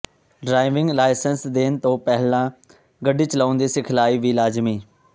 driving licence ਦੇਣ ਤੋਂ ਪਹਿਲਾਂ ਗੱਡੀ ਚਲਾਉਣ ਦੀ ਸਿਖਲਾਈ ਵੀ ਲਾਜ਼ਮੀ